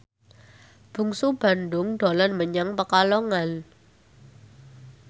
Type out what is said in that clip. Bungsu Bandung dolan menyang Pekalongan